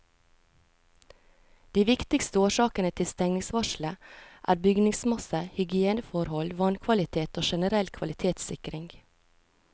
De viktigste årsakene til stengningsvarselet er bygningsmasse, hygieneforhold, vannkvalitet og generell kvalitetssikring.